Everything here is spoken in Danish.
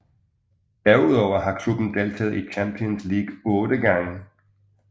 Derudover har klubben deltaget i Champions League otte gange